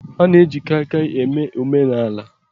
A na-eji Kaikai eme omenaala